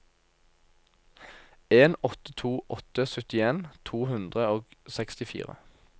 en åtte to åtte syttien to hundre og sekstifire